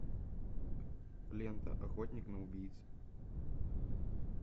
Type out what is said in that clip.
лента охотник на убийц